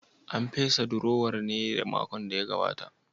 An fesa durowar ne a makon da ya gabata?